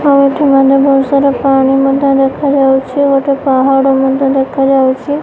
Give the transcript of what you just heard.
ଏଠି ମାନେ ବହୁତ୍ ସାରା ପାଣି ମଧ୍ୟ ଦେଖାଯାଉଛି। ଗୋଟେ ପାହାଡ଼ ମଧ୍ୟ ଦେଖାଯାଉଛି।